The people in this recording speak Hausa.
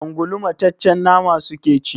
Ungulu mataccen nama suke ci.